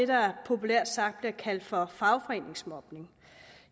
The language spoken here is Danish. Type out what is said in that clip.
der populært sagt bliver kaldt for fagforeningsmobning